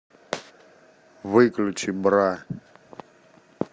выключи бра